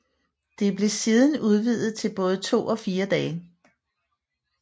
Det blev siden udvidet til både 2 og 4 dage